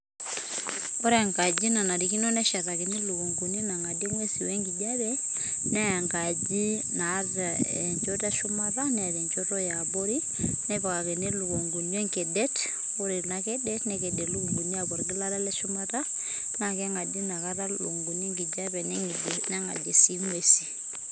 ore engaji nishetaki ilukuni naa engaji naidim atang'adie inkukuni naa engaji naata shumata , nepikakini ilukunkuni orkedet ore ilokedet nekedie ilukunguni apuo olgilata lenye leshumata naakeku keng'adie engijape.